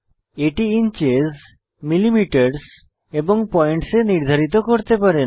এটি inches millimetre এবং points এ নির্ধারিত করতে পারেন